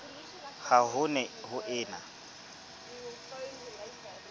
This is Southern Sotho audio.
ha ho ne ho ena